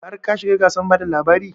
Har ka shiga gasar bada labari?